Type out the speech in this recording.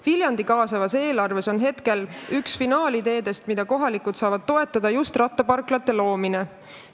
Viljandi kaasavas eelarves on üks finaali jõudnud ideedest, mida kohalikud toetada saavad, just rattaparklate loomine.